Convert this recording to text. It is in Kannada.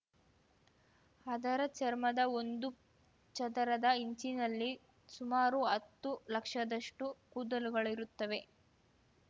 ಅದರ ಚರ್ಮದ ಒಂದು ಚದರದ ಇಂಚಿನಲ್ಲಿ ಸುಮಾರು ಹತ್ತು ಲಕ್ಷದಷ್ಟುಕೂದಲುಗಳಿರುತ್ತವೆ